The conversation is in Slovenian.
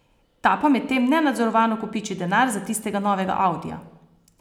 Ta pa medtem nenadzorovano kopiči denar za tistega novega audija.